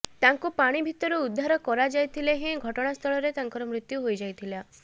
ତାଙ୍କୁ ପାଣି ଭିତରୁ ଉଦ୍ଧାର କରାଯାଇଥିଲେ ହେଁ ଘଟଣାସ୍ଥଳରେ ତାଙ୍କର ମୃତ୍ୟୁ ହୋଇଯାଇଥିଲା